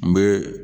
N bɛ